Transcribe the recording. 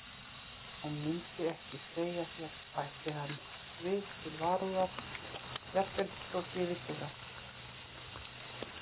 Og myndi ekki segja þér, bætti hann við til varúðar,-jafnvel þótt ég vissi það.